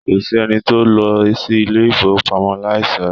Kòsí ẹni tó lọ sí ilé ifowopamọ láì ṣọra.